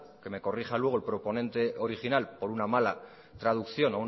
que me corrija luego el proponente original por una mala traducción